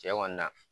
Cɛ kɔni na